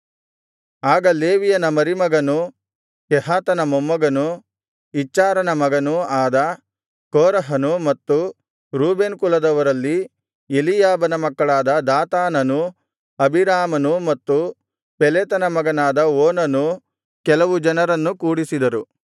ಆಗ ಲೇವಿಯನ ಮರಿಮಗನೂ ಕೆಹಾತನ ಮೊಮ್ಮಗನೂ ಇಚ್ಚಾರನ ರೂಬೇನ್ ಕುಲದವರಲ್ಲಿ ಎಲೀಯಾಬನ ಮಕ್ಕಳಾದ ದಾತಾನನೂ ಅಬೀರಾಮನೂ ಮತ್ತು ಪೆಲೆತನ ಮಗನಾದ ಓನನೂ ಕರೆದುಕೊಂಡು ಕೆಲವು ಜನರನ್ನು ಕೂಡಿಸಿದರು